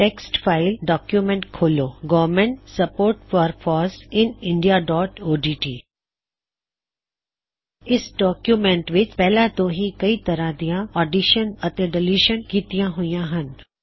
text file document ਖੋਲ੍ਹੋ government support for FOSS in India dot O D T government support for foss in indiaਓਡਟ ਇਸ document ਵਿੱਚ ਪਹਿਲਾ ਤੋਂ ਹੀ ਕਈ ਤਰ੍ਹਾ ਦਿਆ ਐੱਡਿਸ਼ਨ ਅਤੇ ਡਲਿਸ਼ਨ ਕਿੱਤੀਆਂ ਹੋਈਆ ਹੱਨ